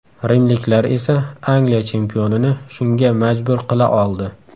Rimliklar esa Angliya chempionini shunga majbur qila oldi.